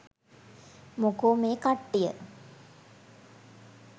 මොකෝ මේ කට්ටිය